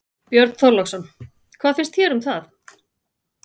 Björn Þorláksson: Hvað finnst þér um það?